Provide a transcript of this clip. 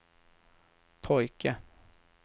pojke